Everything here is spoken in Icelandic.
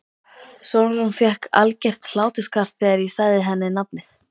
TRYGGVI: Sólrún fékk algert hláturskast þegar ég sagði henni nafnið.